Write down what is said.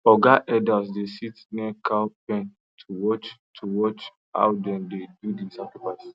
oga elders dey sit near cow pen to watch to watch how dem dey do the sacrifice